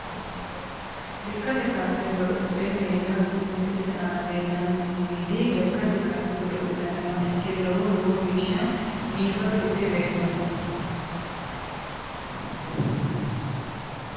Lekate kaase godolle meeda kuni misilete aana leelani noo meedi lekkate kaase godolinaniwa ikke lowo lowo geeshsha biifado ikke leelano.